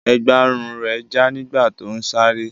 Ẹ̀gbá-ọrùn rẹ̀ já nígbà tó ń sáré.